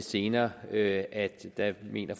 senere at at der mener